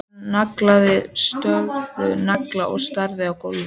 Hann nagaði stöðugt neglurnar og starði á gólfið.